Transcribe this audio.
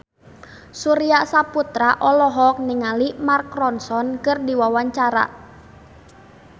Surya Saputra olohok ningali Mark Ronson keur diwawancara